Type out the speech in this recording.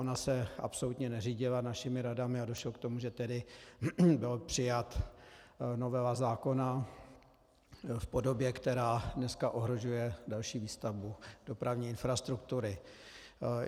Ona se absolutně neřídila našimi radami a došlo k tomu, že tedy byla přijata novela zákona v podobě, která dneska ohrožuje další výstavbu dopravní infrastruktury.